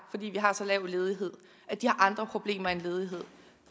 fordi vi har så lav ledighed har andre problemer end ledighed